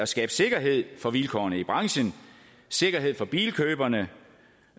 skabe sikkerhed for vilkårene i branchen sikkerhed for bilkøberne